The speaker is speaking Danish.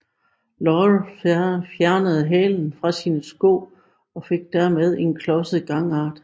Laurel fjernede hælene fra sine sko og fik derved en klodset gangart